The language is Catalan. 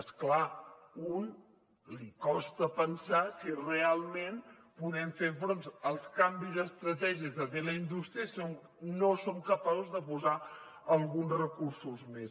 és clar a un li costa pensar si realment podem fer front als canvis d’estratègia que té la indústria si no som capaços de posar alguns recursos més